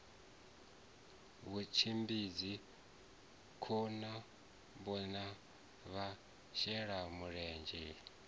vhutshimbidzi khohakhombo na vhashelamulenzhe i